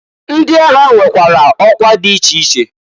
Ndi agha nwekwara ọkwa di iche iche.